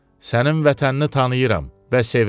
Sənin vətənini tanıyıram və sevirəm.